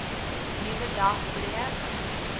nuwe dag breek